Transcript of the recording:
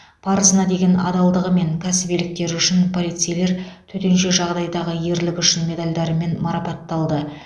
парызына деген адалдығы мен кәсібиліктері үшін полицейлер төтенше жағдайдағы ерлігі үшін медальдарымен марапатталды